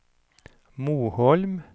Moholm